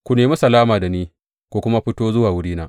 Ku nemi salama da ni ku kuma fito zuwa wurina.